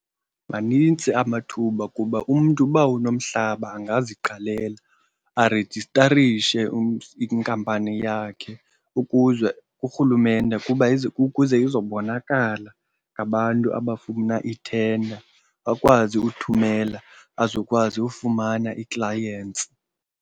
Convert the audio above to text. Manintsi amathuba kuba umntu uba unomhlaba angaziqalela arejistarishe inkampani yakhe ukuze kurhulumente ukuba ukuze izobonakala ngabantu abafuna ii-tender, akwazi uthumela azokwazi ufumana ii-clients.